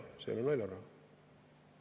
See ei ole naljaraha!